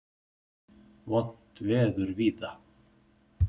Vont veður víða